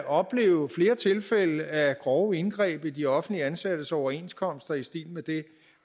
opleve flere tilfælde af grove indgreb i de offentligt ansattes overenskomster i stil med det